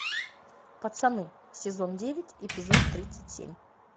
пацаны сезон девять эпизод тридцать семь